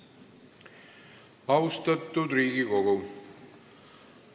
Austatud Riigikogu!